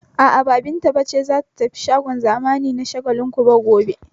A'a, ba Binta ce za ta tafi shagon zamani na Shagalinku ba gobe.